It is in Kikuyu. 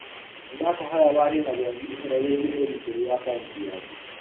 Nĩ ndakũhoya warie na bengi ũhoro wĩgiĩ ũgitĩri wa akaũnti yaku.